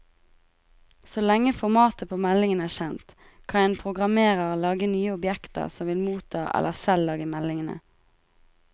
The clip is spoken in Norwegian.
Så lenge formatet på meldingen er kjent, kan en programmerer lage nye objekter som vil motta eller selv lage meldingene.